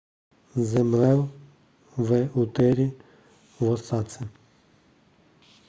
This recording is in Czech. zemřel v úterý v osace